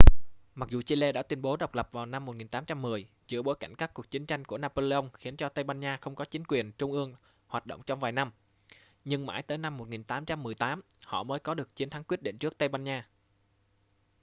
mặc dù chile đã tuyên bố độc lập vào năm 1810 giữa bối cảnh các cuộc chiến tranh của napoleon khiến cho tây ban nha không có chính quyền trung ương hoạt động trong vài năm nhưng mãi tới năm 1818 họ mới có được chiến thắng quyết định trước tây ban nha